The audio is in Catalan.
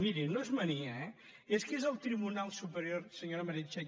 miri no és mania eh és que és el tribunal superior senyora meritxell